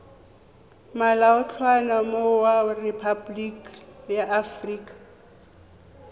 molaotlhomo wa rephaboliki ya aforika